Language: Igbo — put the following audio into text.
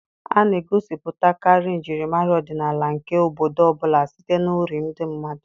A na-egosipụtakarị njirimara ọdịnala nke obodo ọ bụla site na uri ndị mmadụ.